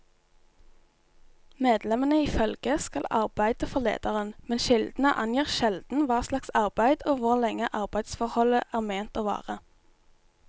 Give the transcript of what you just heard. Medlemmene i følget skal arbeide for lederen, men kildene angir sjelden hva slags arbeid og hvor lenge arbeidsforholdet er ment å vare.